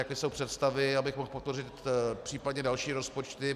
Jaké jsou představy, abych mohl podpořit případně další rozpočty.